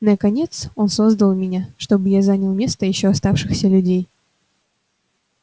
наконец он создал меня чтобы я занял место ещё оставшихся людей